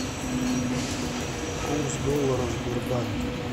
курс доллара в сбербанке